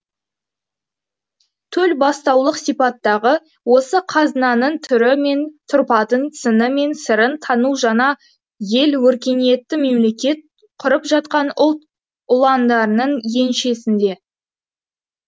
төлбастаулық сипаттағы осы қазынаның түрі мен тұрпатын сыны мен сырын тану жаңа ел өркениетті мемлекет құрып жатқан ұлт ұландарының еншісінде